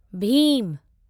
Bhim